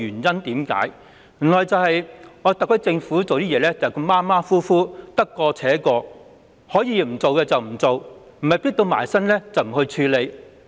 正是因為特區政府處事馬虎，得過且過，可以不做便不做，若非"迫到埋身"便不處理。